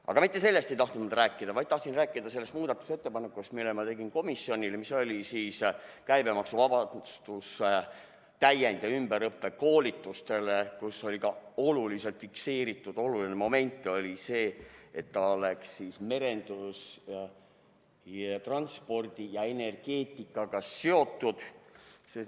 Aga mitte sellest ei tahtnud ma rääkida, vaid tahtsin rääkida sellest muudatusettepanekust, mille ma tegin komisjonile, mis oli täiend‑ ja ümberõppekoolituste käibemaksuvabastus kus oli ka fikseeritud oluline moment, et see oleks merenduse, transpordi ja energeetikaga seotud.